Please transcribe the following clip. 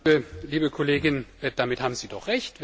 Liebe Kollegin, damit haben Sie doch Recht.